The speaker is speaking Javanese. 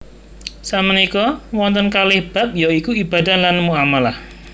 Sakmenika wonten kalih bab ya iku ibadah lan muamalah